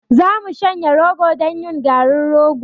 Za mu shanya rogo don yin garin rogo.